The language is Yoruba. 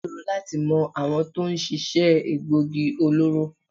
Ó ṣòro láti mọ àwọn tó ń ṣiṣẹ́ egboògi olóró.